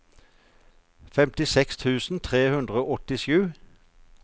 femtiseks tusen tre hundre og åttisju